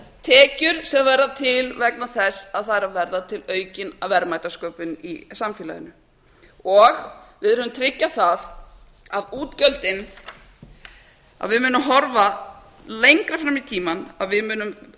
heldur tekjur sem verða til vegna þess að það er að verða aukin verðmætasköpun í samfélaginu við verðum að tryggja það að við munum horfa lengra fram í tímann að við munum